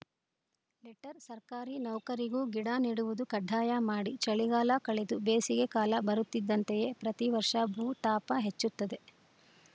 letter ಸರ್ಕಾರಿ ನೌಕರಿಗೂ ಗಿಡ ನೆಡುವುದು ಕಡ್ಡಾಯ ಮಾಡಿ ಚಳಿಗಾಲ ಕಳೆದು ಬೇಸಿಗೆ ಕಾಲ ಬರುತ್ತಿದ್ದಂತೆಯೇ ಪ್ರತೀ ವರ್ಷ ಭೂ ತಾಪ ಹೆಚ್ಚುತ್ತದೆ